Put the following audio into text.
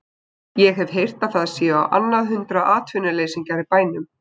Ég hef heyrt að það séu á annað hundrað atvinnuleysingjar í bænum.